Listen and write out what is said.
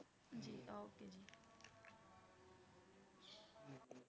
ਹਾਂਜੀ okay ਜੀ।